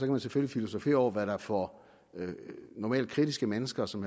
man selvfølgelig filosofere over hvad der får normalt kritiske mennesker som